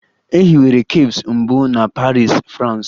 E hiwere cafes mbụ na Paris, France.